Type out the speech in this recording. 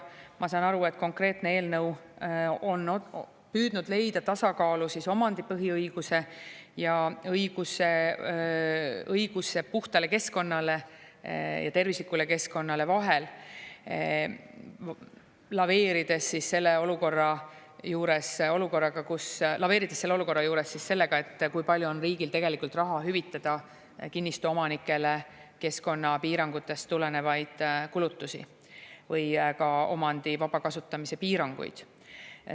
Ma saan aru, et konkreetne eelnõu on püüdnud leida tasakaalu omandipõhiõiguse ja õiguse puhtale keskkonnale ja tervislikule keskkonnale vahel, laveerides selle olukorra juures sellega, kui palju on riigil tegelikult raha, et hüvitada kinnistu omanikele keskkonnapiirangutest tulenevaid kulutusi või ka omandi vaba kasutamise piiranguid.